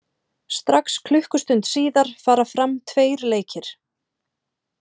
Strax klukkustund síðar fara fram tveir leikir.